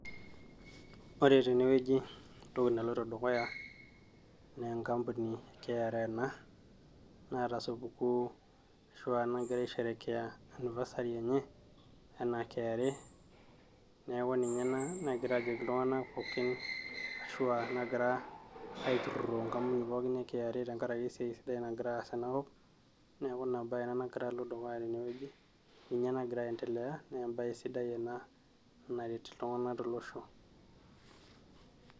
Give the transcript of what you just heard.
ore tenewueji entoki naloito dukuya naa enkampuni e KRA ena naata supukuu ashu aa nagira aisherekea anniversary enye enaa KRA neeku ninye ena negira aajoki iltung'anak pookin ashua nagira aiturruro enkampuni pookin e KRA tenkarake esiai sidai nagira aas tenakop neeku ina baye ena nagira alo dukuya tenewueji ninye nagira aendelea nee embaye sidai ena naret iltung'anak tolosho.